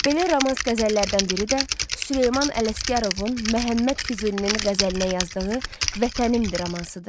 Belə romans-qəzəllərdən biri də Süleyman Ələsgərovun Məhəmməd Füzulinin qəzəlinə yazdığı “Vətənimdir” romansıdır.